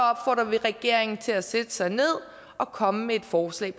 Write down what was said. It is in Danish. opfordrer vi regeringen til at sætte sig ned og komme med et forslag